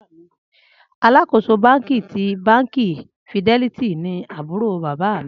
Alakoso banki ti banki fidelity ni ábúrò bábà mi